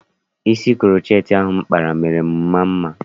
Isi kuroceti ahụ m kpara mere m maa mma.